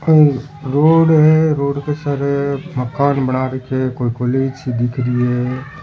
आ एक रोड है रोड पे सारे मकान बना रखे है कोई कॉलेज सी दिख रही है।